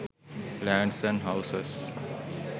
lands and houses